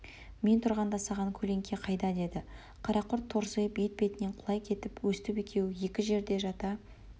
мен тұрғанда саған көлеңке қайда деді қарақұрт торсиып етбетінен құлай кетіп өстіп екеуі екі жерде жата